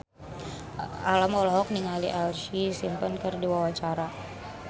Alam olohok ningali Ashlee Simpson keur diwawancara